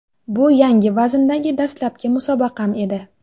Bu yangi vazndagi dastlabki musobaqam edi.